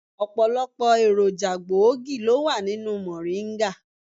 Ọ̀pọ̀lọpọ̀ èròjà gbòógì ló wà nínú mòríńgà.